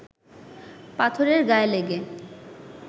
পাথরের গায়ে লেগে